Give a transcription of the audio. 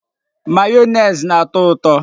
Mayonezi na-ato uto.